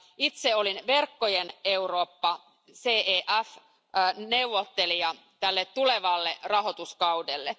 Itse olin Verkkojen Eurooppa neuvottelija tälle tulevalle rahoituskaudelle.